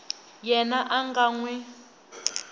yena a nga n wi